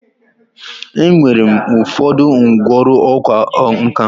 Enwere m ụfọdụ ngwọrụ ọkwa nka.